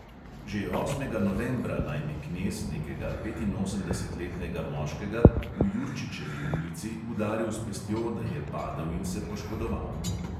Že osmega novembra naj bi knez nekega petinosemdesetletnega moškega v jurčičevi ulici udaril s pestjo, da je padel in se poškodoval.